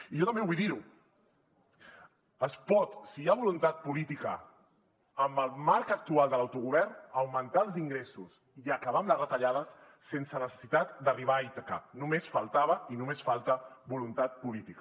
i jo també vull dir ho es pot si hi ha voluntat política en el marc actual de l’auto govern augmentar els ingressos i acabar amb les retallades sense necessitat d’arribar a ítaca només faltava i només falta voluntat política